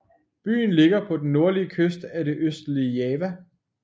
Byen ligger på den nordlige kyst af det østlige Java